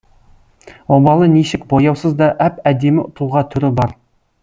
обалы нешік бояусыз да әп әдемі тұлға түрі бар